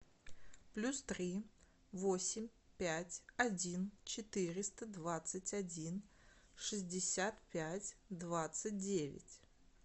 плюс три восемь пять один четыреста двадцать один шестьдесят пять двадцать девять